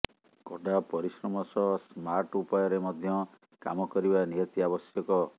କଡ଼ା ପରିଶ୍ରମ ସହ ସ୍ମାର୍ଟ ଉପାୟରେ ମଧ୍ୟ କାମ କରିବା ନିହାତି ଆବଶ୍ୟକ